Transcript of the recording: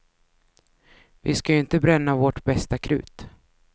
Vi skall ju inte bränna vårt bästa krut.